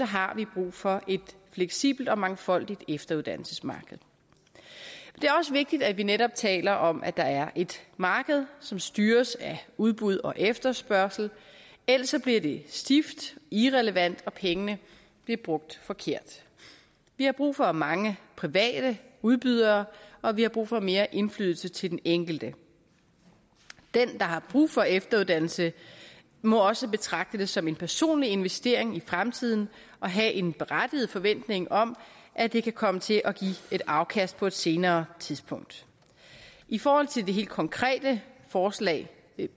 har vi brug for et fleksibelt og mangfoldigt efteruddannelsesmarked det er også vigtigt at vi netop taler om at der er et marked som styres af udbud og efterspørgsel ellers bliver det stift irrelevant og pengene bliver brugt forkert vi har brug for mange private udbydere og vi har brug for mere indflydelse til den enkelte den der har brug for efteruddannelse må også betragte det som en personlig investering i fremtiden og have en berettiget forventning om at det kan komme til at give et afkast på et senere tidspunkt i forhold til det helt konkrete forslag